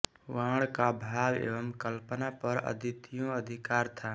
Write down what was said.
बाण का भाव एवं कल्पना पर अद्वितीय अधिकार था